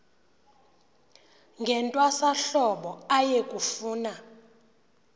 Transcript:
ngentwasahlobo aye kufuna